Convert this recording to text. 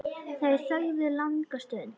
Þau þögðu langa stund.